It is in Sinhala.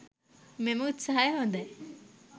මෙම උත්සහය හොදයි